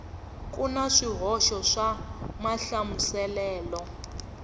ku na swihoxo swa mahlamuselelo